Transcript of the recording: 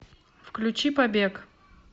включи побег